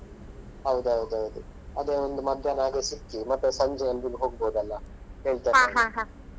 ಹೌದೌದೌದು ಅದೇ ಒಂದು ಮಧ್ಯಾಹ್ನ ಹಾಗೆ ಸಿಕ್ಕಿ ಮತ್ತೆ ಸಂಜೆ ಹೋಗ್ಬೋದಲ್ಲ .